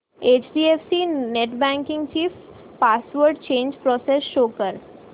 HDFC net banking ची password change process show कर